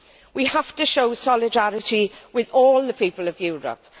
We have to show solidarity with all the people of Europe.